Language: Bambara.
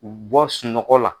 U bɔ sunɔgɔ la.